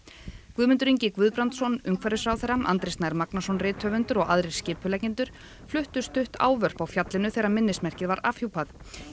Guðmundur Ingi Guðbrandsson umhverfisráðherra Andri Snær Magnason rithöfundur og aðrir skipuleggjendur fluttu stutt ávörp á fjallinu þegar minnismerkið var afhjúpað